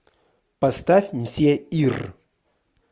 поставь мсье ир